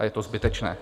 A je to zbytečné.